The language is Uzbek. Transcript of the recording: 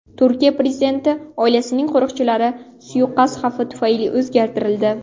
Turkiya prezidenti oilasining qo‘riqchilari suiqasd xavfi tufayli o‘zgartirildi.